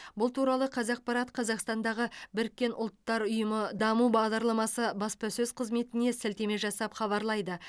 бұл туралы қазақпарат қазақстандағы біріккен ұлттар ұйымы даму бағдарламасы баспасөз қызметіне сілтеме жасап хабарлайды